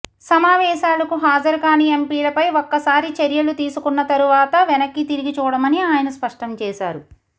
సమావేశాలకు హాజరు కాని ఎంపిలపై ఒక్కసారి చర్యలు తీసుకున్న తరువాత వెనక్కి తిరిగి చూడమని ఆయన స్పష్టం చేశారు